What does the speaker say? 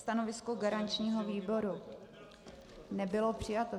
Stanovisko garančního výboru nebylo přijato.